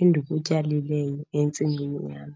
endikutyalileyo entsimini yam.